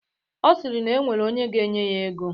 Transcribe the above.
Ọ sịrị na e nwere onye ga-enye ya ego.